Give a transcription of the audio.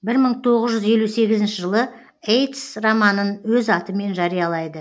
бір мың тоғыз жүз елу сегізінші жылы ейтс романын өз атымен жариялайды